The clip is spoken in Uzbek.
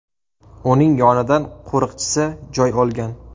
Uning yonidan qo‘riqchisi joy olgan.